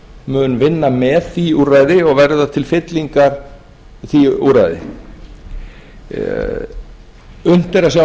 mun vinna með því úrræði og verða til fyllingar því úrræði unnt er